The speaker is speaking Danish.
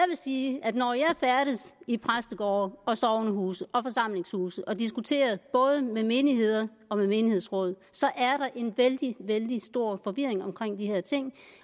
sige at når jeg færdes i præstegårde og sognehuse og forsamlingshuse og diskuterer både med menigheder og med menighedsråd er der en vældig vældig stor forvirring omkring de her ting